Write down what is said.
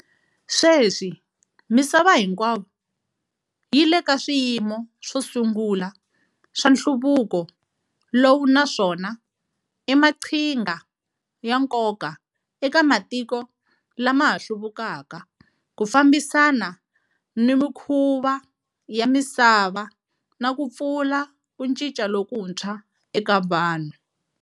Sweswi misava hinkwayo yi le ka swiyimo swo sungula swa nhluvuko lowu naswona i maqhinga ya nkoka eka matiko lama ha hluvukaka ku fambisana ni mikhuva ya misava ni ku pfula ku cinca lokuntshwa eka Vanhu.